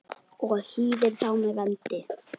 og hýðir þá með vendi.